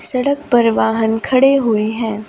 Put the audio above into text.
सड़क पर वाहन खड़े हुए हैं।